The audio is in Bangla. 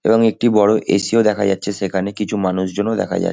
এবং একটি বড় এ. সি. -ও দেখা যাচ্ছে সেখানে কিছু মানুষজনও দেখা যা--